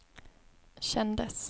kändes